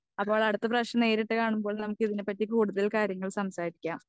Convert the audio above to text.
Speaker 2 അപ്പോൾ അടുത്ത പ്രാവശ്യം നേരിട്ട് കാണുമ്പോൾ നമ്മക്കിതിനെ പറ്റി കൂടുതൽ കാര്യങ്ങൾ സംസാരിക്കാം.